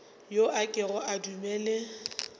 yo a kego a dumele